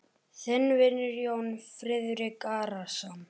Þinn vinur, Jón Friðrik Arason.